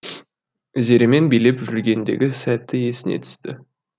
зеремен билеп жүргендегі сәті есіне түсті